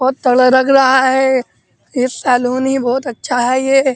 बोहोत तगड़ा लग रहा है। ये सलून भी बोहोत अच्छा है ये।